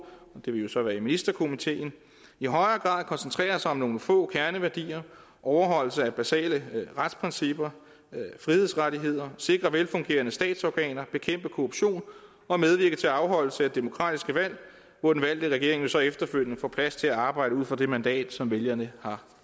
det vil jo så være i ministerkomiteen i højere grad koncentrerer sig om nogle få kerneværdier overholdelse af basale retsprincipper frihedsrettigheder sikre velfungerende statsorganer bekæmpe korruption og medvirke til afholdelse af demokratiske valg hvor den valgte regering jo så efterfølgende får plads til at arbejde ud fra det mandat som vælgerne har